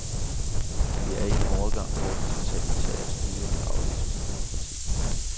Vi er i en overgang, hvor det totalitære styre afløses af demokrati.